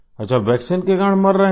अच्छा वैक्सीन के कारण मर रहे हैं